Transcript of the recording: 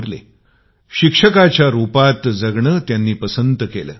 ते नेहमी शिक्षकाच्या रुपात जगणे पसंत करीत होते